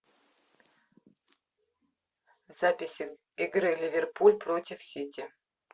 записи игры ливерпуль против сити